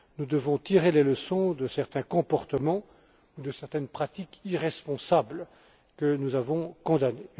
Nous devons tirer les leçons de certains comportements ou de certaines pratiques irresponsables que nous avons condamnés.